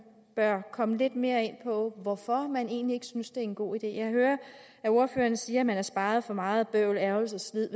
bør komme lidt mere ind på hvorfor man egentlig ikke synes det er en god idé jeg hører at ordføreren siger at man sparet for meget bøvl ærgrelse og sved